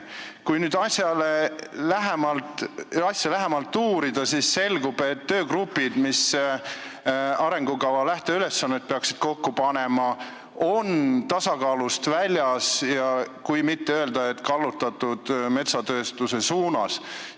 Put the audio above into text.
Kui nüüd asja lähemalt uurida, siis selgub, et töögrupid, mis peaksid arengukava lähteülesannet kokku panema, on tasakaalust väljas, kui mitte öelda, et metsatööstuse suunas kallutatud.